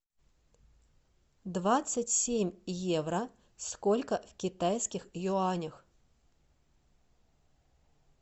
двадцать семь евро сколько в китайских юанях